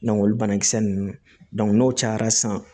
olu banakisɛ ninnu n'o cayara sisan